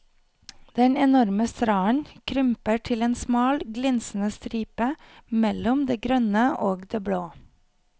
Den enorme stranden krymper til en smal glinsende stripe mellom det grønne og det blå.